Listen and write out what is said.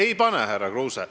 Ei pane, härra Kruuse.